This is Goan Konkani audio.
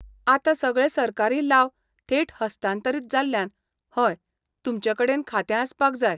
आतां सगळे सरकारी लाव थेट हस्तांतरीत जाल्ल्यान हय, तुमचे कडेन खातें आसपाक जाय.